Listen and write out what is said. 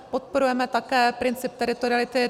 Podporujeme také princip teritoriality.